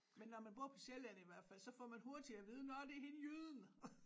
Men når man bor på Sjælland i hvert fald så får man hurtigt at vide nåh det er hende jyden